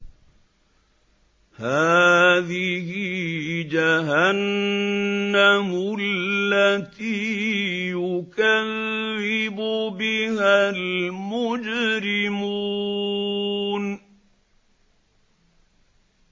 هَٰذِهِ جَهَنَّمُ الَّتِي يُكَذِّبُ بِهَا الْمُجْرِمُونَ